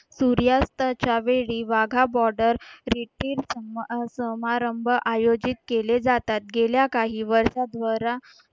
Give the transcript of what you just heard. सूर्यास्ताच्या वेळी Wagah border retreat समारंभ आयोजित केले जातात गेल्या काही वर्षभरा